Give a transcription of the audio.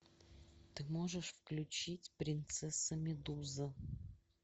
ты можешь включить принцесса медуза